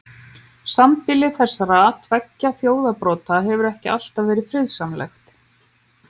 Sambýli þessara tveggja þjóðarbrota hefur ekki alltaf verið friðsamlegt.